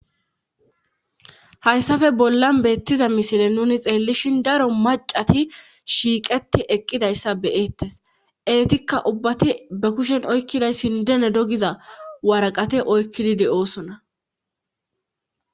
hayssafe bollan beettiza misile nuni xeellishin daro macati shiiqeti eqqidayssa beyeettes eetikka ubbati be kushen oykkidayssindene dogiza waraqate oykkidi de7oosona